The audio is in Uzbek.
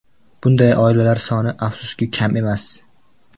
Bunday oilalar soni, afsuski, kam emas.